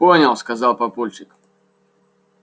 понял сказал папульчик